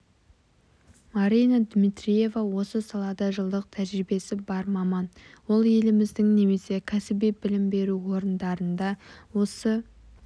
марина дмитриева осы салада жылдық тәжірибесі бар маман ол еліміздің немесе кәсіби білім беру орындарында осы